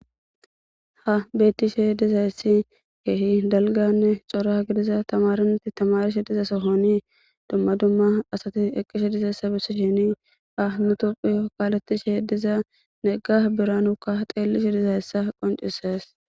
Ha bettishe dizayessi keehi dalganne xora gidiza tamaranatti tamarishe diza sohoni dumma dumma asati eqqishe dizeessa bissi shini a mutopphi kaaletishe he diza negga biranukka xeellishe dizayessa qoncises.